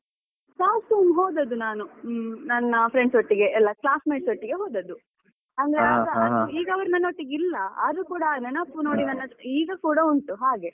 Last time ಹೋದದ್ದು ನಾನು, ಹ್ಮ್ ನನ್ನ friends ಒಟ್ಟಿಗೆ ಎಲ್ಲ classmates ಒಟ್ಟಿಗೆ ಹೋದದ್ದು, ಅಂದ್ರೆ ಅವಾಗ ಈಗ ಅವರು ನನ್ನೊಟ್ಟಿಗೆ ಇಲ್ಲ. ಆದ್ರೆ ಕೂಡ ನೆನಪು ನೋಡಿ ನನ್ನದು ಈಗ ಕೂಡ ಉಂಟು ಹಾಗೆ.